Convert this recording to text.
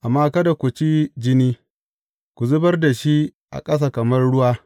Amma kada ku ci jini, ku zubar da shi a ƙasa kamar ruwa.